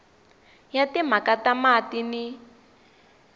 ya timhaka ta mati ni